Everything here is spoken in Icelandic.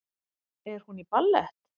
Er hún í ballett?